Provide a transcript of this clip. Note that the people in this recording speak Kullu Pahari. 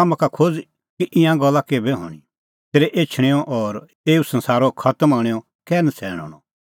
हाम्हां का खोज़ कि ईंयां गल्ला केभै हणीं तेरै एछणेंओ और एऊ संसारा खतम हणैंओ कै नछ़ैण हणअ